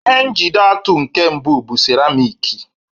Ihe njide atụ nke mbụ bụ seramiiki.